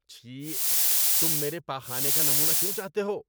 چھی۔ تم میرے پاخانے کا نمونہ کیوں چاہتے ہو؟